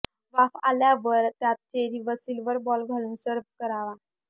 वाफ आल्यावर त्यात चेरी व सिल्वर बॉल खालून सर्व्ह करावा